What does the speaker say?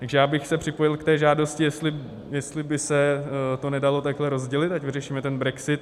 Takže já bych se připojil k té žádosti, jestli by se to nedalo takhle rozdělit, ať vyřešíme ten brexit.